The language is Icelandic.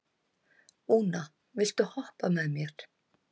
Úna, viltu hoppa með mér?